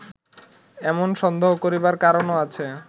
এমন সন্দেহ করিবার কারণও আছে